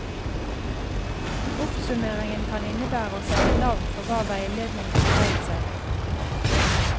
Oppsummeringen kan innebære å sette navn på hva veiledningen har dreid seg om.